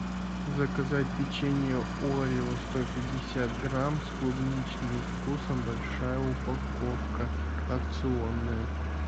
заказать печенье орео сто пятьдесят грамм с клубничным вкусом большая упаковка акционная